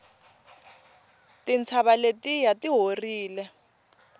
tintshava letiya ti horile